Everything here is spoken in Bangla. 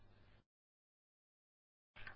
বাম মাউসের বোতাম টিপুন এবং নীচে টানুন